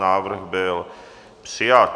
Návrh byl přijat.